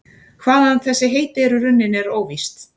Hvaðan þessi heiti eru runnin er óvíst.